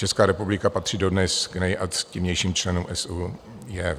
Česká republika patří dodnes k nejaktivnějším členům SÚJV.